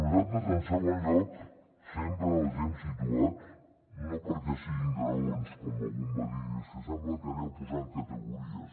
nosaltres en segon lloc sempre els hem situat no perquè siguin graons com algú em va dir és que sembla que aneu posant categories